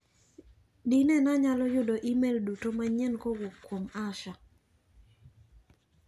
Dine nayalo yudo imel duto manyien kowuok kuom Asha.